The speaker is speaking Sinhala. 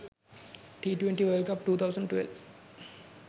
t20 world cup 2012